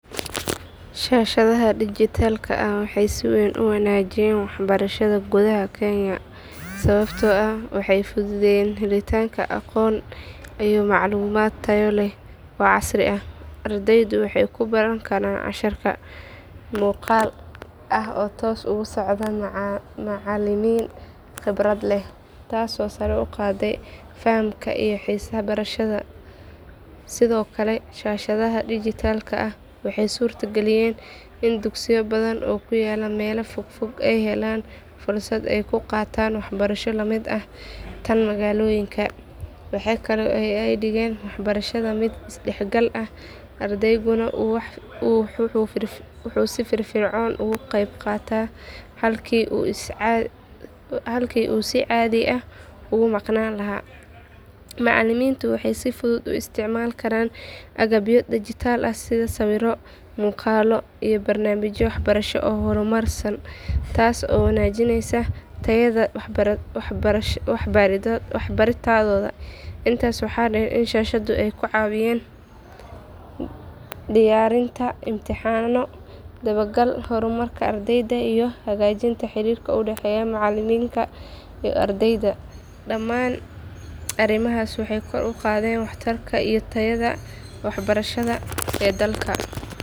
Shashadaha dijitalka waxee si weyn u wanajiyen wax barashaada gudaha kenya sawabto ah waxee fududeyen helitanka aqon iyo maclumaad tayo leh iyo casri, ardeyda waxee ku baran karan si tos muqal macalimin qibraad leh, tas oo sare uqade fahamka iyo xisaha barashada sithokale shashaadaha dijitalka ah waxee surta galiyen in dugsiya qar ah ee helen fursaada ee ku qatan, tas oo wanaginesa wax baradhoda, daman arimahas waxee kor uqadhen wax tarka iyo tayaada wax barashaada ee dalka.